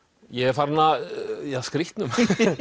ég er farinn að ja skrýtnum